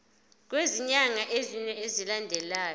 kwezinyanga ezine zilandelana